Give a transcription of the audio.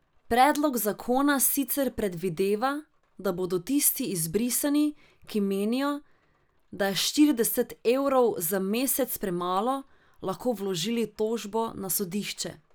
Predlog zakona sicer predvideva, da bodo tisti izbrisani, ki menijo, da je štirideset evrov za mesec premalo, lahko vložili tožbo na sodišče.